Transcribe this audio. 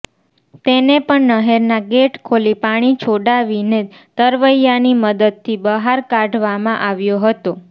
તેને પણ નહેરના ગેટ ખોલી પાણી છોડાવીને તરવૈયાની મદદથી બહાર કાઢવામાં આવ્યો હતો